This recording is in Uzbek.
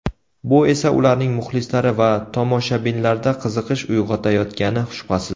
Bu esa ularning muxlislari va tomoshabinlarda qiziqish uyg‘otayotgani shubhasiz.